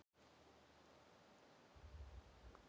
Hvenær varð gerð sama og hugsun?